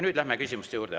Nüüd läheme küsimuste juurde.